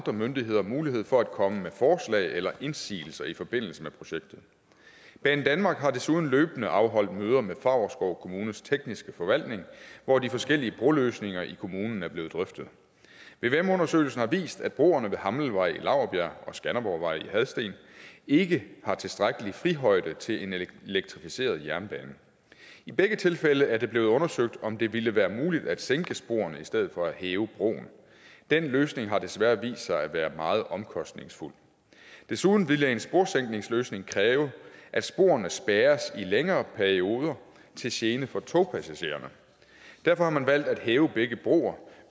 og myndighederne mulighed for at komme med forslag eller indsigelser i forbindelse med projektet banedanmark har desuden løbende afholdt møder med favrskov kommunes tekniske forvaltning hvor de forskellige broløsninger i kommunen er blevet drøftet vvm undersøgelsen har vist at broerne ved hammelvej i laurbjerg og skanderborgvej i hadsten ikke har tilstrækkelig frihøjde til en elektrificeret jernbane i begge tilfælde er det blevet undersøgt om det ville være muligt at sænke sporene i stedet for at hæve broen den løsning har desværre vist sig at være meget omkostningsfuld desuden ville en sporsænkningsløsning kræve at sporene blev spærret i længere perioder til gene for togpassagererne derfor har man valgt at hæve begge broer